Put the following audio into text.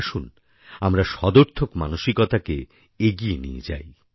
আসুন আমরা সদর্থক মানসিকতাকে এগিয়ে নিয়ে যাই